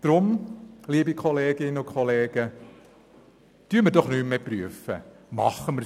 Aus diesem Grund soll nicht mehr geprüft, sondern gehandelt werden.